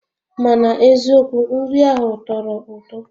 Mana eziokwu nri ahụ tọrọ ụtọ